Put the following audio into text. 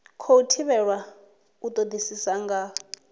khou thivhelwa u todisisa nga